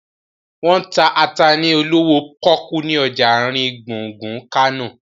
Wọ́n ń ta ata ni olówó pọ́kú ni ọjà àrin gbùngbùn Kánò